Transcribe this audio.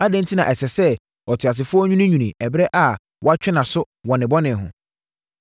Adɛn enti na ɛsɛ sɛ ɔteasefoɔ nwiinwii ɛberɛ a wɔatwe nʼaso wɔ ne bɔne ho?